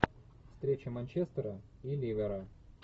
встреча манчестера и ливера